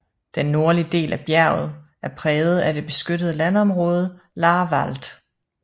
Den nordlige del af bjerget er præget af det beskyttede landområde Laaer Wald